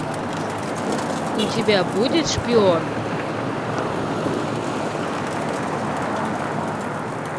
у тебя будет шпион